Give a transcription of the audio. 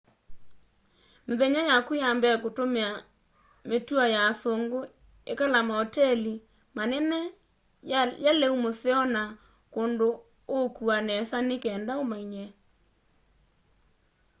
mithenya yaku ya mbee tumia mitũo ya asungu ikala mauteli manene ya leũ mũseo na kũndũ ũukũwa nesa ni kenda ũmanyie